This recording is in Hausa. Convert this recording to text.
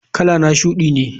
Kalana shudi ne.